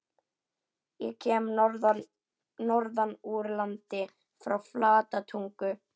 Ég kem norðan úr landi- frá Flatatungu.